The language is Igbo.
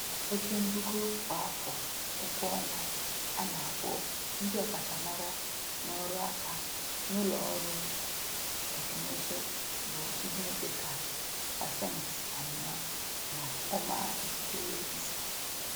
Oke mbugo kwa afọ ụgwọọnwa a na-akwụ ndị ọkachamara n'ọrụaka n'ụlọọrụ tekinụzụ bụ ihe dị ka pasentị anọ na ụma mpekele ise.